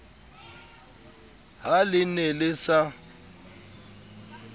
ha le ne le sa